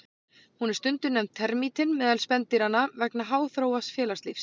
Hún er stundum nefnd termítinn meðal spendýranna vegna háþróaðs félagslífs.